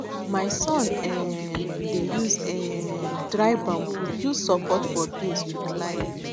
my son um dey use um dry bamboo build support for beans to climb